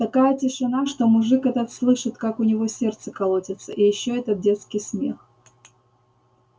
такая тишина что мужик этот слышит как у него сердце колотится и ещё этот детский смех